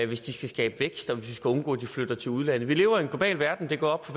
hvis de skal skabe vækst og hvis vi skal undgå at de flytter til udlandet vi lever i en global verden det er gået op